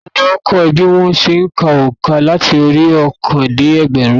Ta ló kọ́ o bí wón se n ka ònkà láti orí óòkan dé ẹgbẹ̀rún